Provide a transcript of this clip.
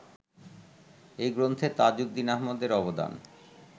এই গ্রন্থে তাজউদ্দীন আহমদের অবদান